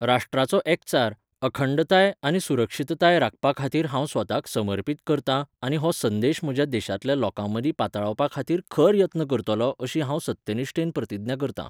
राष्ट्राचो एकचार, अखंडताय आनी सुरक्षीतताय राखपाखातीर हांव स्वताक समर्पित करतां आनी हो संदेश म्हज्या देशांतल्या लोकांमदीं पातळावपाखातीर खर यत्न करतलों अशी हांव सत्यनिश्ठेन प्रतिज्ञा करतां.